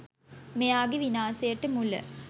මෙයාගෙ විනාසයට මුල.